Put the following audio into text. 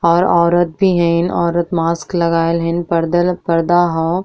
और औरत भी हइन। औरत मास्क लगाईल हइन। पर्दल पर्दा ह।